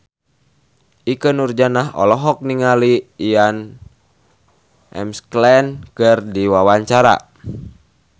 Ikke Nurjanah olohok ningali Ian McKellen keur diwawancara